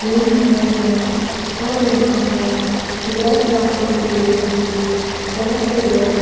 घूम रहे हैं और यहाँ पर और एयर क्राफ्टिंग के लिए भी बहुत से लोग--